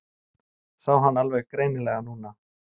Sá hann alveg greinilega núna.